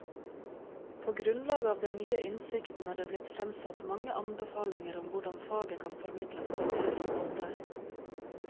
På grunnlag av den nye innsikten er det blitt fremsatt mange anbefalinger om hvordan faget kan formidles på en bedre måte.